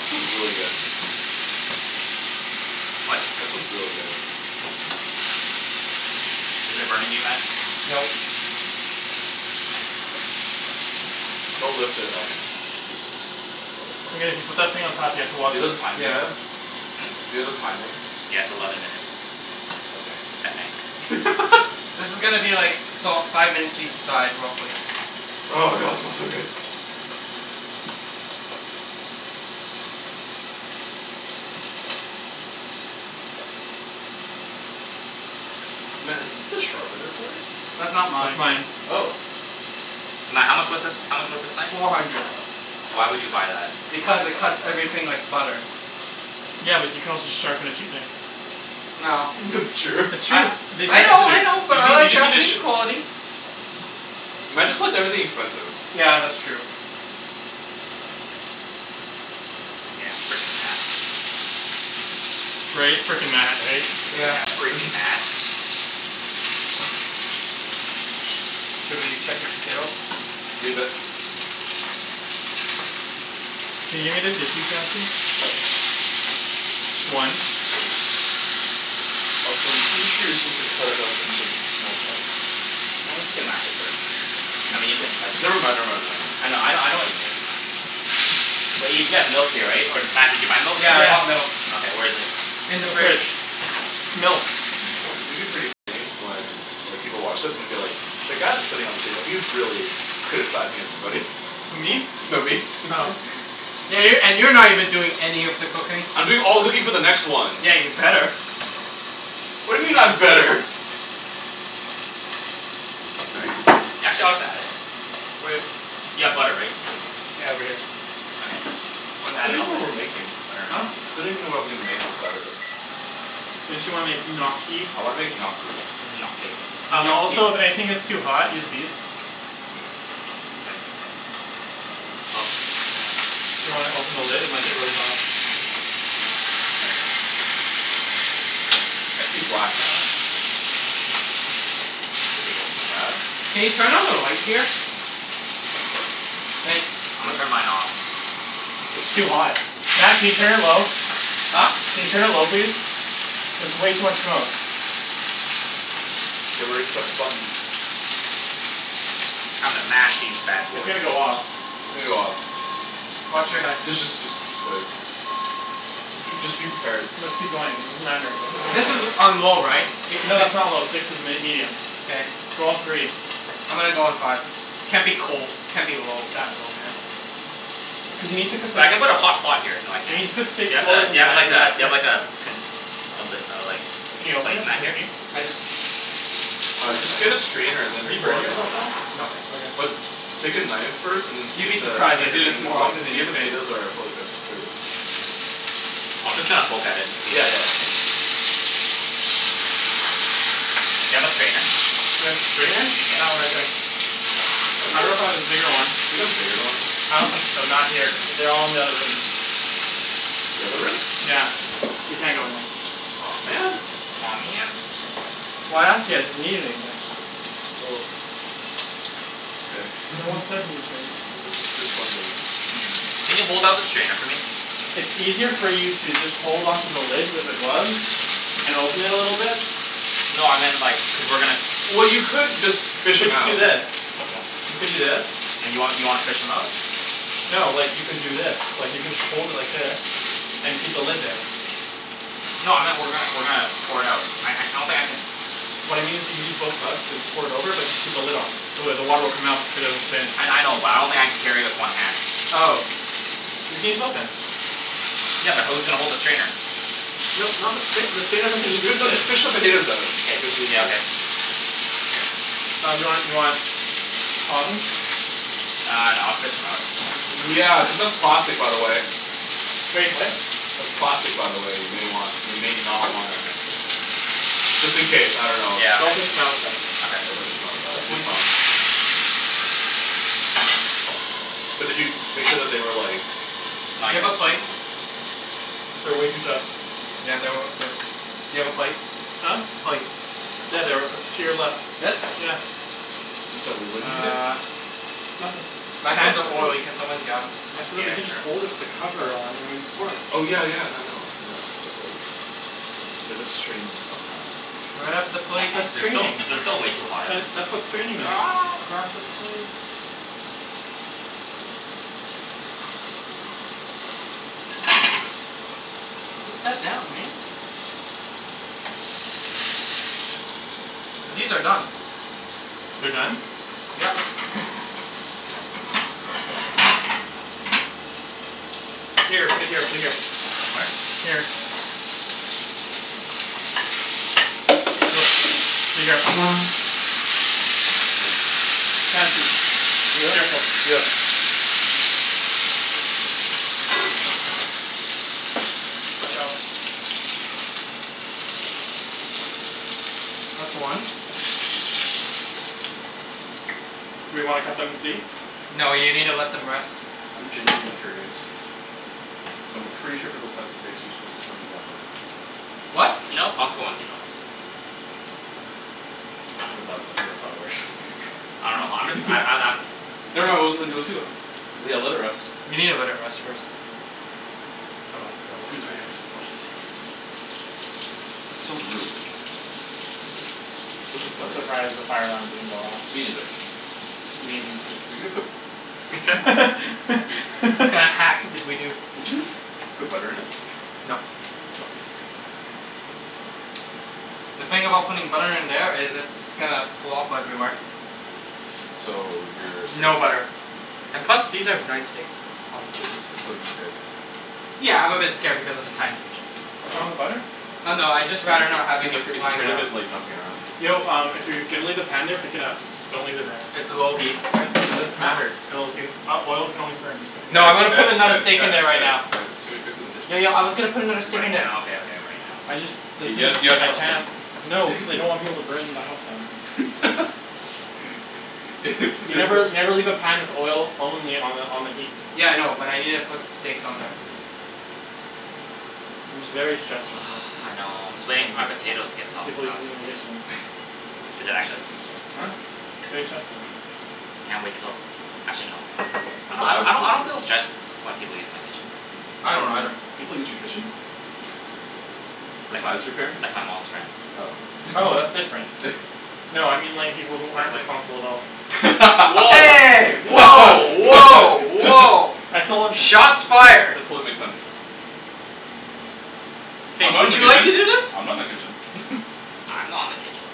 That smells really good. What? That smells really good. Is it burning you Matt? No. Don't lift it out then. Just just let it put that thing on top here to wash it. Yeah. Do you have a timing? Yeah, it's eleven minutes. Okay. I think. This is gonna be like salt five minutes each side real quick. Oh god smells so good. Matt, is this the sharpener for it? That's not That's mine. mine. Oh. Matt, how much was this? How much was this knife? Four hundred. Why would you buy that? Because it cuts everything like butter. Yeah, but you can also just sharpen a cheap knife. No. That's true. It's I true. We I know That's tested true. I it. know You but I just you like just need to Japanese sh- quality. Matt just likes everything expensive. Yeah, that's true. Yeah, freaking Matt. Right? Freaking Matt, right? Yeah. Yeah, Freaking Matt. freaking Matt. Should we check your potatoes? Leave it. Can you? Sure. Just one. Also I'm pretty sure you're supposed to cut it up into small chunks. As long as you can mash it first. I mean you can Never like. mind, I never mind, know I know never mind. I know what you mean. Wait, you still have milk here right? Or did Matt did you buy milk? Yeah I bought milk. Okay, where is it? In In the the fridge. fridge. Milk. It's gonna be pretty funny when like people watch this and be like "The guy that's sitting at the table, he's really criticizing everybody." Who me? No, me. Oh. Yeah, you're and you're not even doing any of the cooking. I'm doing all the cooking for the next one. Yeah, you'd better. What He's do you being mean I'm sincere. better? Y'all chill we got it. You have butter right? Yeah over here. Okay, I still don't put even know what we're making. that Huh? I still don't even know what I'm making on Saturday. Didn't you wanna make gnocchi? I wanna make gnocchi. Gnocchi. Gnocchi. Also if anything gets too hot, use these. Do you wanna open the lid? It might get really hot. I see black, Matt. Matt? Can you turn on the light here? Thanks. Turn mine off. It's too hot. Matt can you turn it low? Huh? Can you turn it low please? There's way too much smoke. Get ready to press the button. I'm gonna mash these bad It's gonna boys. go off. It's gonna go off. Watch your head. D- just just just wait. J- just be prepared. No just keep going. It doesn't matter but it's This is gonna. on low right? It No six? that's not low, six is m- medium. K. Go on three. I'm gonna go on five. Can't be cold. Can't be low that low man Cuz you need to cook the So s- I'm gonna put a hot pot here you need so to I cook can steak Do slower than you that have after the that do bit. you have like a do you have like a pi- lid Can you like open it? Matt Can we just see? used? I just Uh just get a strainer and Are then you pour burning it in. yourself at all? No Okay. But take a knife first and see You'd if be the surprised. see I if the do this thing is more like often than see you if the think. potatoes are fully cooked through. I'll just kinda poke at it. Yeah, yeah yeah yeah Do you have a strainer? Do I have strainer? That one right there. I dunno if I have a bigger one. Do you have a bigger one? I don't think so. Not here. They're all in the other room. The other room? Yeah, we can't go in there. Aw man. Aw man. Well I asked you guys if you need anything. Well. Okay. No one said anything. No, just just wondering. Can you hold up the strainer for me? It's easier for you to just hold on to the lid with the gloves and open it a little bit. No I meant like cuz we're gonna s- Well you could just You fish should 'em just do out. this. You could do this. And you want you wanna fish 'em out? No, like you could do this. Like you could hold it like this, and keep the lid there. No I meant we're gonna we're gonna pour it out. I don't think I can What I mean is you use both gloves and pour it over but just keep the lid on. So it the water will come out but the potatoes will stay in. I I know but I don't think I can carry it with one hand. Oh. You can use both hands. Yeah, but who's gonna hold the strainer? No not the strainer, the strainer has nothing to Just do fi- with no just it. fish the potatoes out it it'll be Yeah easier. okay Um do you want do you want tongs? Uh no I'll just fish 'em out. Yeah, cuz that's plastic by the way. Wait, what? That's plastic by the way, you may want you may not wanna Just in case, I dunno. Yeah. Don't fish 'em out with that. Yeah, don't Okay. fish 'em out like that. That's way Use too tongs. But did you make sure that they were like Not Do you yet. have a plate? They're way too tough Yeah they were they do you have a plate? Huh? Plate. Yeah, they're to your left. This? Yeah. I'm sorry, wait, what did you say? Nothin' My hands About the are potatoes. oily, can someone get 'em? I said that Yeah, you can just hold it sure. with the cover on and pour it. Oh yeah yeah no I know I know but like We have to strain them somehow, and finish it. Grab the That's plate that's They're still straining. they're still way too hot. That's what straining is. Grab the plate. Put that down, man. These are done. They're done? Yep. Here, put it here put it here. What? Here. be careful. Chancey. Yeah? Careful. Yeah. Watch out. That's one. We wanna cut them and see? No you needa let them rest. I'm genuinely curious. Cuz I'm pretty sure for those types of steaks you're supposed to put 'em in the oven. What? No, Costco ones you don't. I dunno I'm just I'm I'm I'm Never mind, we'll we'll see what happens. Yeah, let it rest. You needa let it rest first. Hold on, gotta wash Who's ready my for hands. some raw steaks? That smells really good though. Where's the I'm butter? surprised the fire alarm didn't go off. Me neither. You mean you too. Were you gonna put What kinda hacks did we do? Did you put butter in it? Nope. Okay. The thing about putting butter in there is it's gonna flop everywhere. So you're scared. No butter. And plus these are nice steaks so So so so you're scared. Yeah, I'm a bit scared because of the tiny kitchen. What's wrong with the butter? So Oh no, I'd just rather not having he's it afraid he's flying afraid of around. it like jumping around. Yo um if you're gonna leave the pan there pick it up. Don't leave it there. It's low heat. What? It doesn't matter. It'll it oil can always burn. Just put it No I'm Guys gonna here. guys put another guys steak in guys there right guys now. guys, too many cooks in the kitchen. Yo yo I was gonna put another steak Right in there. now, okay okay right now. I just let's K, guys, just you got I trust him. can't no cuz I don't want people to burn my house down. You never you You've never leave a pan with oil only on the on the heat. Yeah I know, but I needa put steaks on there. I'm just very stressed right now I know, I'm just waiting for my potatoes to get soft People using the though. kitchen. Is it actually? Huh? It's very stressful. Can't wait till actually no I don't I don't I don't feel stressed when people use my kitchen. I I don't do. either. People use your kitchen? Like, Besides your parents? like my mom's friends. Oh, Oh, that's different. No I mean like people who aren't responsible adults. Hey! Woah woah woah! I still don't Shots fired. That totally makes sense. I'm Hey, not in would the you like to kitchen. do this? I'm not in the kitchen. I'm not in the kitchen.